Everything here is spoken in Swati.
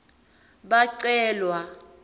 bacelwa